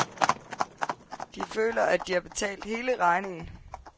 De føler, at de har betalt hele regningen.